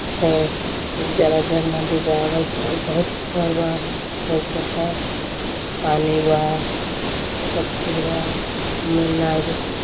सब खूब जरा जल नदी बा अगल-बगल घर बा लउकत बा पानी बा सब फिरवा वो मे नाई बा।